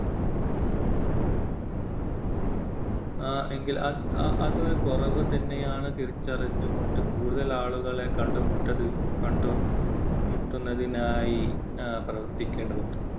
എഹ് എങ്കിൽ അ~അതൊരു കുറവ് തന്നെയാണ് തിരിച്ചറിഞ്ഞു കൊണ്ട് കൂടുതൽ ആളുകളെ കണ്ടുമുട്ടല് കണ്ട് മു~മുട്ടു~മുട്ടുന്നതിനായി പ്രവർത്തിക്കേണ്ടതുണ്ട്.